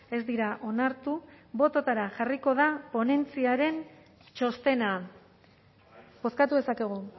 ez dira onartu bototara jarriko da ponentziaren txostena bozkatu dezakegu